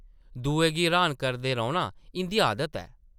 दुएं गी र्हान करदे रौह्ना इंʼदी आदत ऐ ।